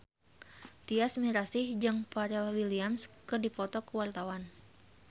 Tyas Mirasih jeung Pharrell Williams keur dipoto ku wartawan